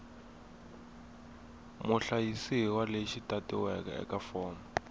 muhlayisiwa lexi tatiweke eka fomo